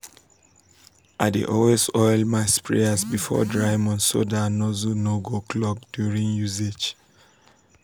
i dey always oil my sprayers before dry months so dat nozzles no go clog during usage.